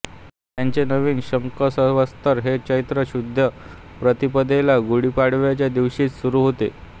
त्यांचे नवीन शकसंवत्सर हे चैत्र शुद्ध प्रतिपदेला गुढी पाडव्याच्या दिवशीच सुरू होते